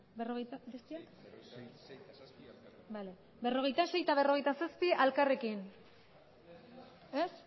berrogeita sei eta berrogeita zazpi elkarrekin ez